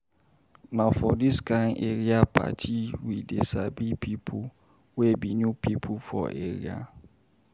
Na for dis kain area party we dey sabi pipo wey be new pipo for area.